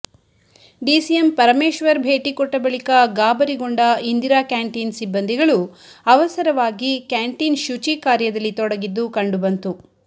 DCM Parameshwar ಭೇಟಿ ಕೊಟ್ಟ ಬಳಿಕ ಗಾಬರಿಗೊಂಡ ಇಂದಿರಾ ಕ್ಯಾಂಟೀನ್ ಸಿಬ್ಬಂದಿಗಳು ಅವಸರವಾಗಿ ಕ್ಯಾಂಟೀನ್ ಶುಚಿ ಕಾರ್ಯದಲ್ಲಿ ತೊಡಗಿದ್ದು ಕಂಡುಬಂತು